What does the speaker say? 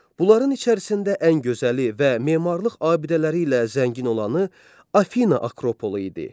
Bunların içərisində ən gözəli və memarlıq abidələri ilə zəngin olanı Afina akropolu idi.